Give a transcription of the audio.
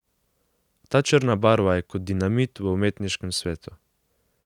Ta črna barva je kot dinamit v umetniškem svetu.